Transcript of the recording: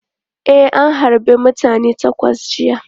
E, an harbe mutane takwas jiya.